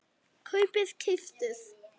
kaupið- keyptuð